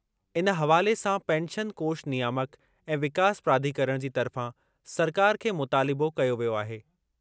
इन हवाले सां पेंशन कोष नियामक ऐं विकास प्राधिकरण जी तर्फ़ां सरकार खे मुतालिबो कयो वियो आहे।